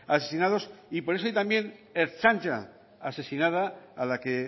asesinados y por eso hay también ertzaina asesinada a la que